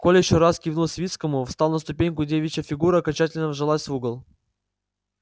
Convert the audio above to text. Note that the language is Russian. коля ещё раз кивнул свицкому встал на ступеньку девичья фигура окончательно вжалась в угол